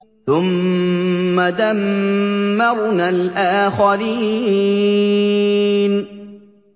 ثُمَّ دَمَّرْنَا الْآخَرِينَ